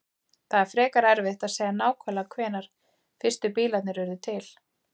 Það er frekar erfitt að segja nákvæmlega hvenær fyrstu bílarnir urðu til.